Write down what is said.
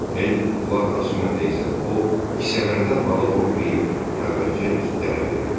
Hel qulaq asmayanda isə o kisələrdən balıq oğrulayıb xəlvətcə itlərə verirdi.